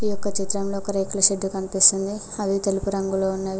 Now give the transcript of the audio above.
ఈ యొక్క చిత్రంలో ఒక రేకుల షెడ్ కనిపిస్తుంది అవి తెలుపు రంగులో ఉన్నవి.